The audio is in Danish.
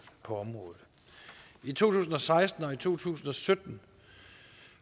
på området i to tusind og seksten og to tusind og sytten